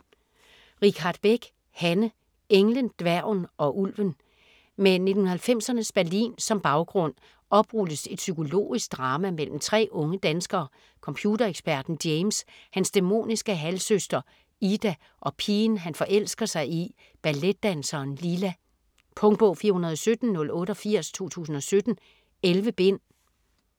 Richardt Beck, Hanne: Englen, dværgen og ulven Med 1990'ernes Berlin som baggrund oprulles et psykologisk drama mellem tre unge danskere: computereksperten James, hans dæmoniske halvsøster Ida og pigen han forelsker sig i, balletdanseren Lila. Punktbog 417088 2017. 11 bind.